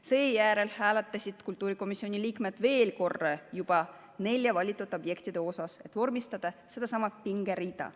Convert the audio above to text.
Seejärel hääletasid kultuurikomisjoni liikmed veel korra juba nelja valitud objekti vahel, et vormistada pingerida.